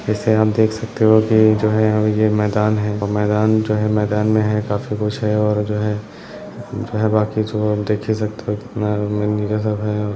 जैसे हम देख सकते हो की ये जो है मैदान है मैदान जो है मैदान में है काफी कुछ है और जो जो है बाकि जो आप देख ही सकते है कितना है।